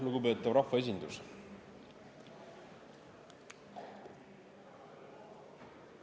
Lugupeetav rahvaesindus!